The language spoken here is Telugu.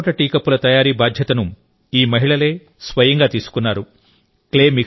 టెర్రకోట టీ కప్పుల తయారీ బాధ్యతను ఈ మహిళలే స్వయంగా తీసుకున్నారు